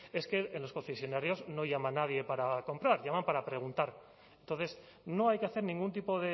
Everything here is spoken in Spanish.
es que en los concesionarios no llama nadie para comprar llaman para preguntar entonces no hay que hacer ningún tipo